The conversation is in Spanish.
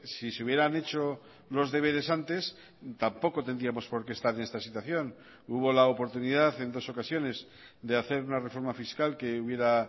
si se hubieran hecho los deberes antes tampoco tendríamos por qué estar en esta situación hubo la oportunidad en dos ocasiones de hacer una reforma fiscal que hubiera